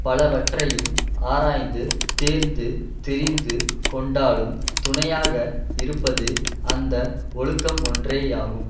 பலவற்றையும் ஆராய்ந்து தேர்ந்து தெரிந்து கொண்டாலும் துணையாக இருப்பது அந்த ஒழுக்கம் ஒன்றேயாகும்